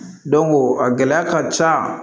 a gɛlɛya ka ca